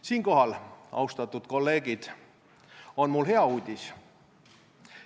Siinkohal, austatud kolleegid, on mul hea uudis.